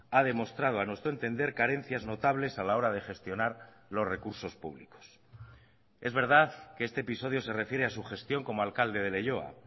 ha demostrado a nuestro entender carencias notables a la hora de gestionar los recursos públicos es verdad que este episodio se refiere a su gestión como alcalde de leioa